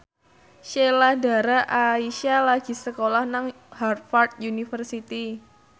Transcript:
Sheila Dara Aisha lagi sekolah nang Harvard university